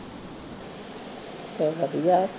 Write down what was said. ਸਗੋਂ ਵਧੀਆ ਹੈ